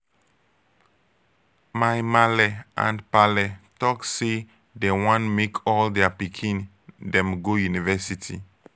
my maale and paale talk say dey wan make all their pikin dem go university.